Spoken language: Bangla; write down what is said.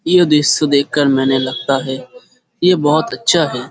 ইয়ে দৃশ দেখকার মেয়নে লাগতা হায় যে বহত আচ্ছা হায় ।